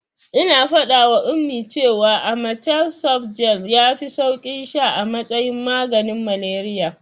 Ina faɗawa Ummi cewa amatem softgel yafi sauki sha a matsayin maganin malariya.